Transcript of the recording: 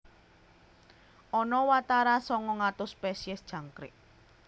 Ana watara sangang atus spesies jangkrik